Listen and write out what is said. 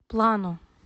плано